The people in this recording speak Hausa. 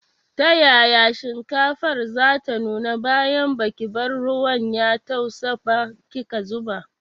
Ta yaya shinkafar zata nuna bayan baki bar ruwan ya tausa ba kika zuba.